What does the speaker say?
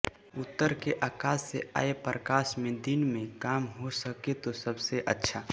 उत्तर के आकाश से आए प्रकाश में दिन में काम हो सके तो सबसे अच्छा